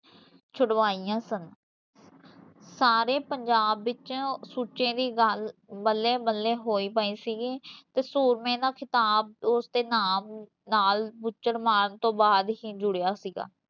ਛੁਡਵਾਈਂਆ ਸਨ ਸਾਰੇ ਪੰਜਾਬ ਵਿੱਚ ਸੁੱਚੇ ਦੀ ਗੱਲ, ਬੱਲੇ ਬੱਲੇ ਹੋਈ ਪਈ ਸੀਗੀ ਤੇ ਸੂਰਮੇ ਦਾ ਖਿਤਾਬ ਓਸਦੇ ਨਾਮ ਨਾਲ਼ ਬੁੱਚੜ ਮਾਰਨ ਤੋਂ ਬਾਦ ਹੀਂ ਜੁੜਿਆ ਸੀਗਾ